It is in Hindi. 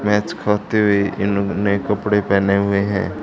मैच खाते हुए इन्होंने नये कपड़े पहने हुए हैं।